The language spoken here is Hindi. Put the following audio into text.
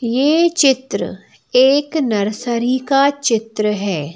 ये चित्र एक नर्सरी का चित्र है।